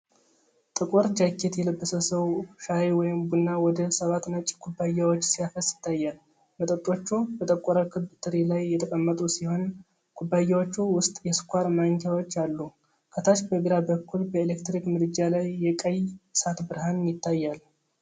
ጥቁር ጃኬት የለበሰ ሰው ሻይ ወይም ቡና ወደ ሰባት ነጭ ኩባያዎች ሲያፈስ ይታያል። መጠጦቹ በጠቆረ ክብ ትሪ ላይ የተቀመጡ ሲሆን፤ ኩባያዎቹ ውስጥ የስኳር ማንኪያዎች አሉ። ከታች በግራ በኩል በኤሌክትሪክ ምድጃ ላይ የቀይ እሳት ብርሃን ይታያል።